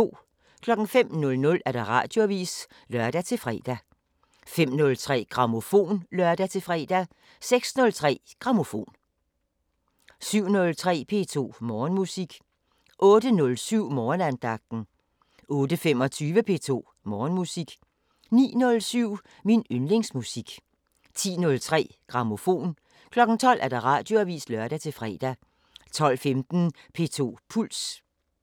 05:00: Radioavisen (lør-fre) 05:03: Grammofon (lør-fre) 06:03: Grammofon 07:03: P2 Morgenmusik 08:07: Morgenandagten 08:25: P2 Morgenmusik 09:07: Min yndlingsmusik 10:03: Grammofon 12:00: Radioavisen (lør-fre) 12:15: P2 Puls